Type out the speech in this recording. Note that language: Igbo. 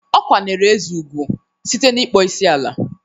Ọ kwanyeere Eze ugwu site n'ịkpọ isi ala.